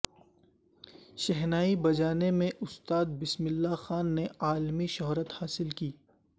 شہنائی بجانے میں استاد بسم اللہ خان نے عالمی شہرت حاصل کی